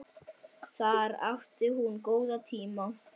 Þar átti hún góða tíma.